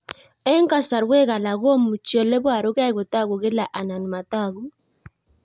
Eng' kasarwek alak komuchi ole parukei kotag'u kila anan matag'u